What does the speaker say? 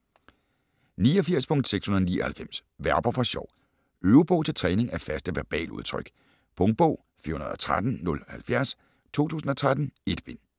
89.699 Verber for sjov Øvebog til træning af faste verbaludtryk Punktbog 413070 2013. 1 bind.